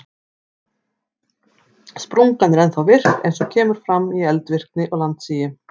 Sprungan er ennþá virk eins og kemur fram í eldvirkni og landsigi.